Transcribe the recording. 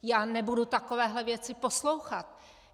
Já nebudu takovéhle věci poslouchat.